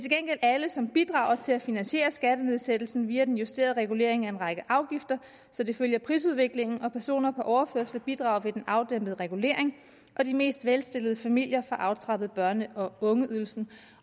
gengæld alle som bidrager til at finansiere skattenedsættelsen via den justerede regulering af en række afgifter så det følger prisudviklingen og personer på overførsler bidrager ved den afdæmpede regulering og de mest velstillede familier får aftrappet børne og ungeydelsen